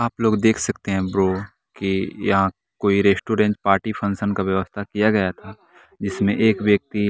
आप लोग देख सकते हैं ब्रो कियहां कोई रेस्टोरेंट पार्टी फंक्शन का व्यवस्था किया गया था जिसमें एक व्यक्ति।